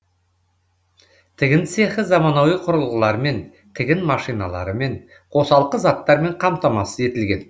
тігін цехы заманауи құрылғылармен тігін машиналарымен қосалқы заттармен қамтамасыз етілген